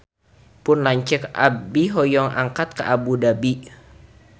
Pun lanceuk hoyong angkat ka Abu Dhabi